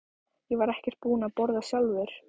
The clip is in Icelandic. Ég var ekkert búinn að borða sjálfur.